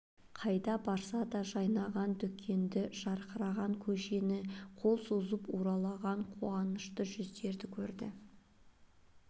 қайда барса да жайнаған дүкенді жарқыраған көшені қол соғып уралаған қуанышты жүздерді көрді